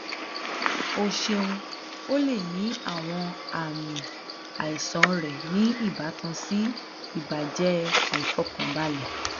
o ṣeun o le ni awọn aami aisan rẹ ni ibatan si ibajẹ aifọkanbalẹ